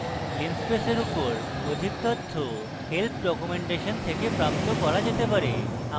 linspace এর উপর অধিক তথ্য help ডকুমেন্টেশন থেকে প্রাপ্ত করা যেতে পারে